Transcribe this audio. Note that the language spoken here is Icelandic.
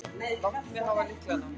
Láttu mig hafa lyklana.